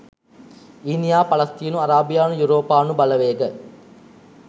ඊනීයා පලස්තින අරාබියානු යුරෝපානු බලවේග